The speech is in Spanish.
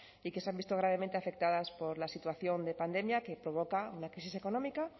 y que se han visto gravemente afectadas por la situación de pandemia que provoca una crisis económica